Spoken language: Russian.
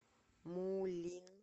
мулин